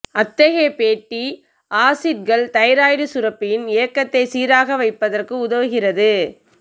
அத்தகைய ஃபேட்டி ஆசிட்கள் தைராய்டு சுரப்பியின் இயக்கத்தை சீராக வைப்பதற்கு உதவுகிறது